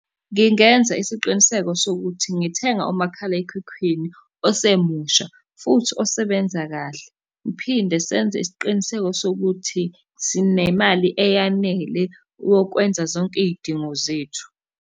Ngingenza isiqiniseko sokuthi ngithenga umakhalekhukhwini osemusha, futhi osebenza kahle, ngiphinde senze isiqiniseko sokuthi sinemali eyanele wokwenza zonke iy'dingo zethu.